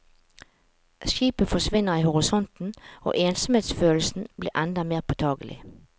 Skipet forsvinner i horisonten og ensomhetsfølelsen blir enda mer påtakelig.